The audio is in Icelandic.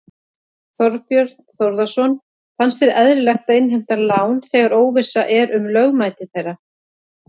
Þorbjörn Þórðarson: Finnst þér eðlilegt að innheimta lán þegar óvissa er um lögmæti þeirra?